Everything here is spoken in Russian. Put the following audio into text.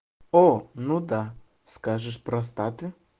о ну да скажешь простаты